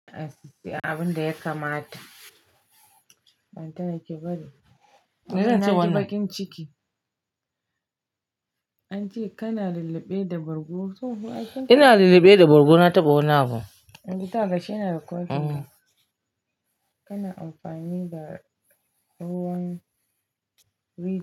Abin da ya kamata. Ai kawai ki bari. Na ji baƙin ciki. An ce kana lalleɓe da bargo. Ina lalleɓe da bargo, na taɓa wani abu. Gida gashi ina da kwari na. Kana amfani da ruwan ri.